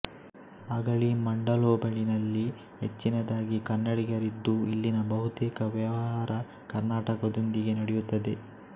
ಅಗಳಿ ಮಂಡಲ್ಹೋಬಳಿನಲ್ಲಿ ಹೆಚ್ಚಿನದಾಗಿ ಕನ್ನಡಿಗರಿದ್ದು ಇಲ್ಲಿನ ಬಹುತೇಕ ವ್ಯವಹಾರ ಕರ್ನಾಟಕದೊಂದಿಗೆ ನಡೆಯುತ್ತದೆ